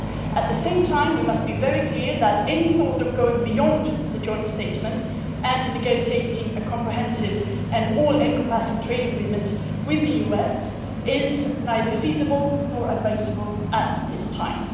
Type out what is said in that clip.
At the same time, we must be very clear that any thought of going beyond the joint statement and negotiating a comprehensive and all encompassing trade agreement with the US is neither feasible nor advisable at this time.